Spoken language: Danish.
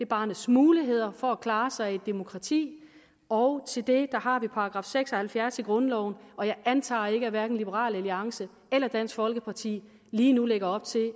barnets muligheder for at klare sig i et demokrati og til det har vi § seks og halvfjerds i grundloven og jeg antager ikke at hverken liberal alliance eller dansk folkeparti lige nu lægger op til